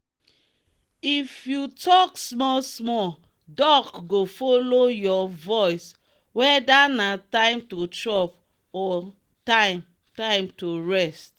if you dey talk small small duck go follow your voice whether na time to chop or time time to rest